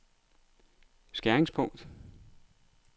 skæringspunkt